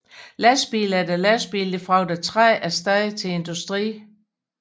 Lastbil efter lastbil fragter træ af sted til industrien